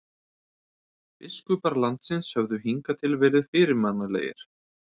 Biskupar landsins höfðu hingað til verið fyrirmannlegir.